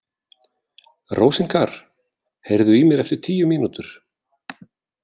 Rósinkar, heyrðu í mér eftir tíu mínútur.